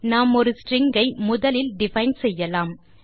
நாம் ஒரு ஸ்ட்ரிங் ஐ முதலில் டிஃபைன் செய்யலாம்